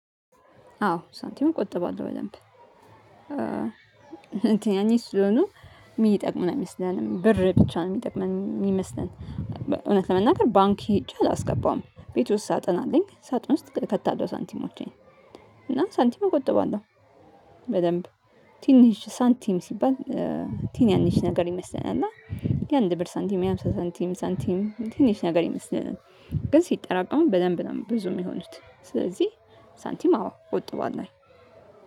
አዎ ሳንቲሙን ቁጥብ አድርገው በደንብ እንትን ቲንሽ ስለሆኑ እሚጠቅመን አይመስለንም ብር ብቻ ነው የሚጠቅመን የሚመስለን። እውነት ለመናገር ባንክ ሄጄ አላስገባም ቤት ውስጥ ሳጥን አለኝ። ሳጥን ውስጥ ከታለው ሳንቲሞቼን እና ሳንቲም እቆጥበዋለሁ። በደንብ ቲንሽ ሳንቲም ሲባል ትናንሽ ነገር ይመስለናል። እና የአንድ ብር ሳንቲም የሃምሳ ሳንቲም ሳንቲም ትንሽ ነገር ይመስለናል ግን ሲጠራቀሙ በደንብ ነው ብዙ የሚሆኑት። ስለዚህ ሳንቲም አዎ ቆጥቧልናል።